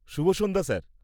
শুভ সন্ধ্যা , স্যার!